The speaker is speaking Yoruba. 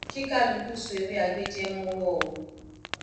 kí kálukú so ewé agbéjẹ mọwọ o